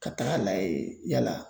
Ka taga layɛ yala.